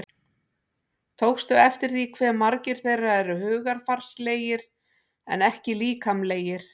Tókstu eftir því hve margir þeirra eru hugarfarslegir en ekki líkamlegir?